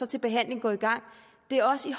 til behandlingen går i gang det er også i